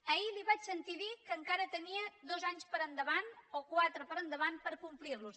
ahir li vaig sentir dir que encara tenia dos anys per endavant o quatre per endavant per complir ho